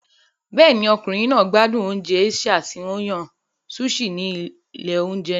Bẹ́ẹ̀ni, ọkùnrin náà gbádùn oúnjẹ Asia tí a yàn sushi ní ilé oúnjẹ náà.